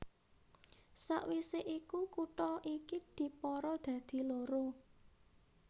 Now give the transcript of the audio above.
Sawisé iku kutha iki dipara dadi loro